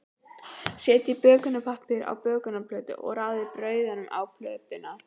Setjið bökunarpappír á bökunarplötu og raðið brauðunum á plötuna.